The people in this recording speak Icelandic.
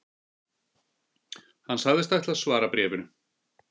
Hann sagðist ætla að svara bréfinu